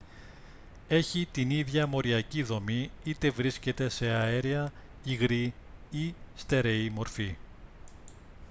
έχει την ίδια μοριακή δομή είτε βρίσκεται σε αέρια υγρή ή στέρεη μορφή